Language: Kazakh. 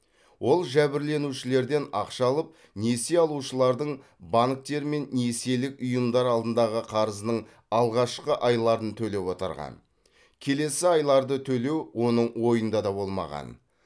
ол жәбірленушілерден ақша алып несие алушылардың банктер мен несиелік ұйымдар алдындағы қарызының алғашқы айларын төлеп отырған келесі айларды төлеу оның ойында да болмаған